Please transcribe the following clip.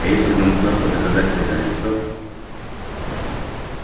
а если нам удастся доказать предательство